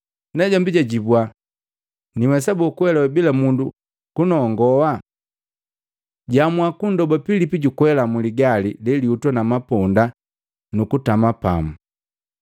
Najombi jwajibua, “Niwesa boo kuelewa bila mundu kunongowa?” Jaamua kunndoba Pilipi jukwela muligali lelihutwa na maponda nukutama pamu.